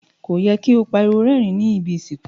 Ko yẹ ki o pariwo rérìn ni ibi ìsìnkú.